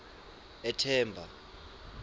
ethemba